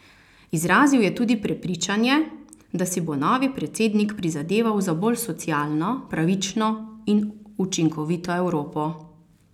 Izrazil je tudi prepričanje, da si bo novi predsednik prizadeval za bolj socialno, pravično in učinkovito Evropo.